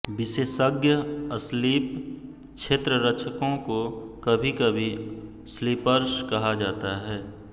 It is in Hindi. विशेषज्ञ स्लिप क्षेत्ररक्षकों को कभीकभी स्लीपर्स कहा जाता है